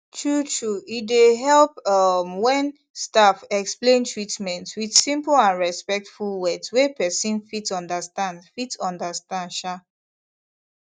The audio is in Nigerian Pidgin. truetrue e dey help um when staff explain treatment with simple and respectful words wey person fit understand fit understand um